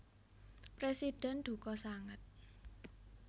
Presiden duka sanget